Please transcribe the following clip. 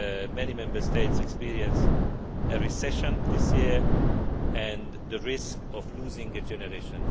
many Member States experienced a recession this year and the risk of losing a generation.